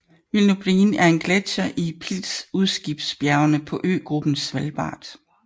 Wilnobreen er en gletsjer i Pilsudskibjergene på øgruppen Svalbard